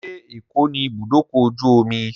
Ṣé Èkó ní ibùdókọ̀-ojú-omi?